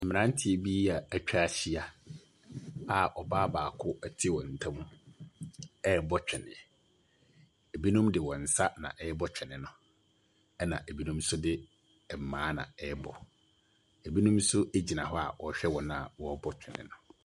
Mmeranteɛ bi a wɔatwa ahyia a ɔbaa baako te wɔn ntam rebɔ twene. Binom de wɔn nsa na ɛrebɔ twene no. Ɛna ɛbinom nso de mmaa na ɛrebɔ. Ɛbinom nso gyina hɔ a wɔrehwɛ wɔn a wɔrebɔ twene no.